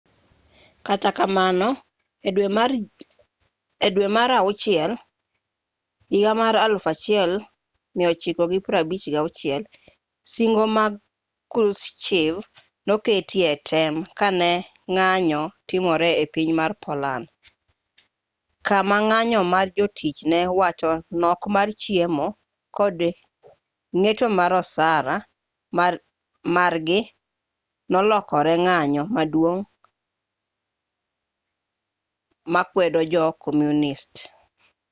kata kamano e dwe mar jun 1956 singo mag krushchev noketi e tem ka ne ng'anyo timore e piny mar poland kama ng'anyo mar jotich ne wach nok mar chiemo kod ng'eto mar osara margi nolokore ng'anyo maduong' makwedo jo komunist